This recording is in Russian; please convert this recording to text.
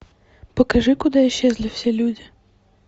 покажи куда исчезли все люди